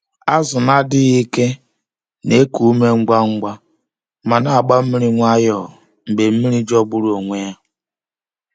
Azụ na-adịghị ike na-eku ume ngwa ngwa ma na-agba mmiri nwayọọ mgbe mmiri jọgburu onwe ya.